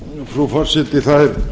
frú forseti það